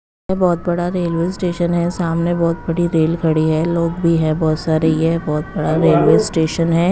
ये बहुत बड़ा रेलवे स्टेशन है सामने बहुत बड़ी रेल खड़ी है लोग भी है बहुत सारे ये बहुत बड़ा रेलवे स्टेशन है।